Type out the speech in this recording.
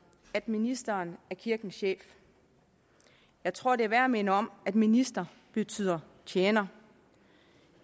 at ministeren er kirkens chef jeg tror det er værd at minde om at minister betyder tjener